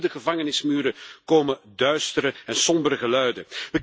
En ook van binnen de gevangenismuren komen duistere en sombere geluiden.